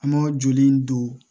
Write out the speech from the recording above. An ma joli in don